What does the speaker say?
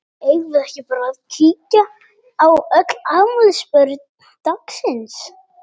Eigum við ekki bara að kíkja á öll afmælisbörn dagsins?